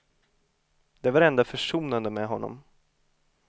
Det var det enda försonande med honom.